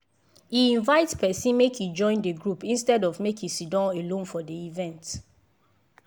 e invite person make e join the group instead of make e siddon alone for the event.